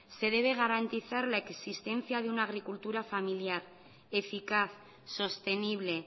se debe garantizar la existencia de una agricultura familiar eficaz sostenible